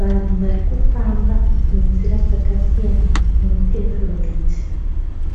Vanhu varikufamba nenzira dzakasiyana mu pevhumendi.